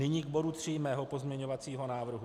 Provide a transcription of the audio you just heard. Nyní k bodu 3 mého pozměňovacího návrhu.